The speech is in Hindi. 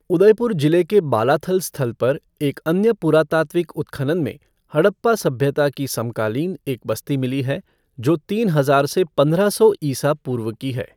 उदयपुर जिले के बालाथल स्थल पर एक अन्य पुरातात्विक उत्खनन में हड़प्पा सभ्यता की समकालीन एक बस्ती मिली है जो तीन हजार से पंद्रह सौ ईसा पूर्व की है।